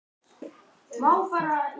Hún kom líka fyrr en hún átti að koma.